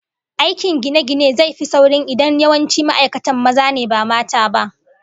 Aikin gine-gine zai fi sauri idan yawancin ma'aikatan maza ne ba mata ba